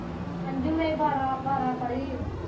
ਅੰਜੂ ਵੀ ਬਾਰਾਂ ਪੜੀ ਐਂ।